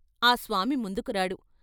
ఆ స్వామి ముందుకురాడు.